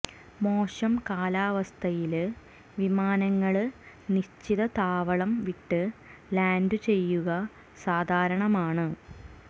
മോശം കാലാവസ്ഥയില് വിമാനങ്ങള് നിശ്ചിത താവളം വിട്ട് ലാന്ഡ് ചെയ്യുക സാധാരണമാണ്